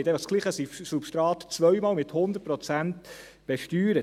Dasselbe Substrat wird zweimal mit 100 Prozent besteuert.